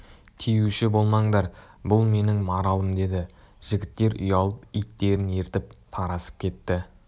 тиюші болмаңдар бұл менің маралым деді жігіттер ұялып иттерін ертіп тарасып кетті